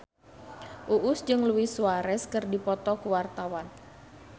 Uus jeung Luis Suarez keur dipoto ku wartawan